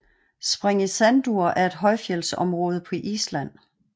Sprengisandur er et højfjeldsområde på Island